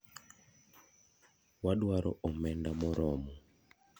wadwaro omenda moromo.